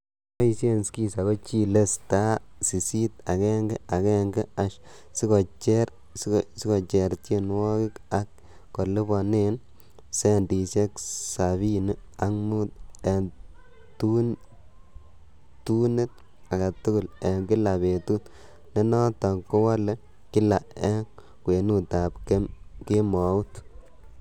Cheboishen skiza ko chile*sisit agenge agenge# sikocher tienwogik ak kiliponen centisiek sabini ak mut en tunit agetugul en kila betut, nenoton kewole kila en kwenutab kemout.